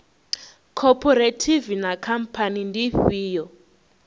khophorethivi na khamphani ndi ifhio